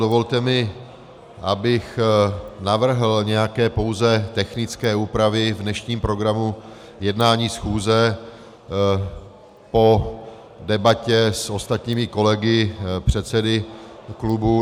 Dovolte mi, abych navrhl nějaké pouze technické úpravy v dnešním programu jednání schůze po debatě s ostatními kolegy, předsedy klubů.